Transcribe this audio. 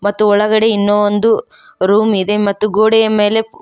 ಮತ್ತು ಒಳಗಡೆ ಇನ್ನೂ ಒಂದು ರೂಮ್ ಇದೆ ಮತ್ತು ಗೋಡೆಯ ಮೇಲೆ--